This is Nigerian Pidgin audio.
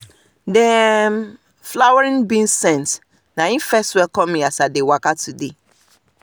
the um flowering beans scent na hin first welcome me as i dey waka today